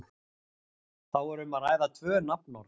þá er um að ræða tvö nafnorð